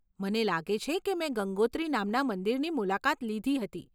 મને લાગે છે કે મેં ગંગોત્રી નામના મંદિરની મુલાકાત લીધી હતી.